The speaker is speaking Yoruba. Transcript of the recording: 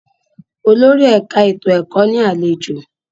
Olórí ẹ̀ka ètò ẹ̀kọ́ ní àlejò.